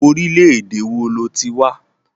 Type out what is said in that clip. Orílẹ̀ ède èwo lo ti wá.